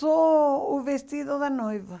Só o vestido da noiva.